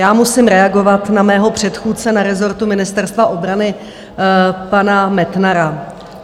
Já musím reagovat na svého předchůdce na rezortu Ministerstva obrany, pana Metnara.